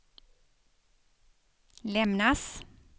lämnas